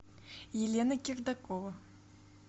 елена кирдакова